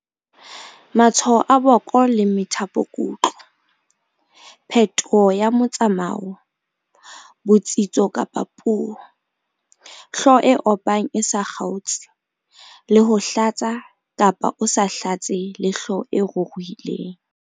Matshwao a boko le methapokutlo, phetoho ya motsamao, botsitso kapa puo, hlooho e opang e sa kgaotse le ho hlatsa-kapa o sa hlatse le hlooho e ruruhileng.